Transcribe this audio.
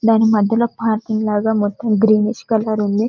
దాని మధ్యలో పార్కింగ్ లాగా మొత్తం గ్రీనిష్కలర్ ఉంది అందులో --